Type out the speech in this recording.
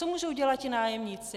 Co můžou dělat ti nájemníci?